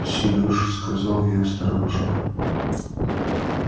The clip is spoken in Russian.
серёж сказала я осторожно